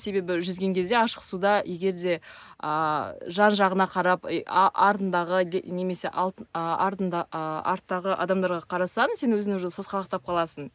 себебі жүзген кезде ашық суда егерде ааа жан жағыңа қарап артындағы немесе артыңдағы адамдарға қарасаң сен өзің уже сасқалақтап қаласың